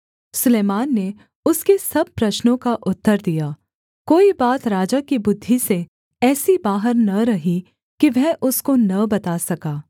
सुलैमान ने उसके सब प्रश्नों का उत्तर दिया कोई बात राजा की बुद्धि से ऐसी बाहर न रही कि वह उसको न बता सका